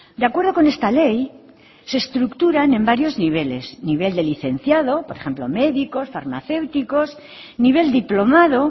de acuerdo con esta ley se estructuran en varios niveles nivel de licenciado por ejemplo médicos farmacéuticos nivel diplomado